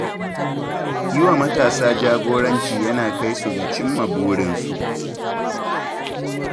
Yi wa matasa jagoranci yakan kai su ga cim ma burinsu.